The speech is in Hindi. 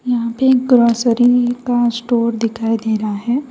यहां पे एक ग्रोसरी का स्टोर दिखाई दे रहा है।